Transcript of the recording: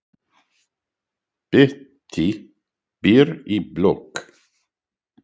Bettý býr í blokk.